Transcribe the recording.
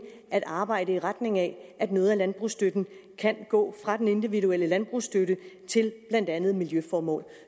at arbejde i retning af at noget af landbrugsstøtten kan gå fra den individuelle landbrugsstøtte til blandt andet miljøformål